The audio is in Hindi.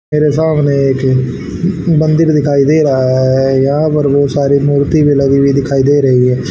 मेरे सामने एक मंदिर दिखाई दे रहा है यहां पर बहोत सारी मूर्ति भी लगी हुई दिखाई दे रही है।